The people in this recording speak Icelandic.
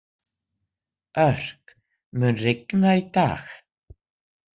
Örk, mun rigna í dag?